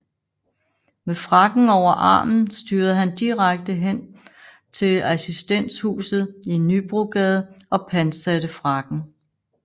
Med frakken over armen styrede han direkte hen til Assistenshuset i Nybrogade og pantsatte frakken